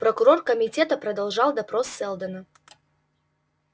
прокурор комитета продолжал допрос сэлдона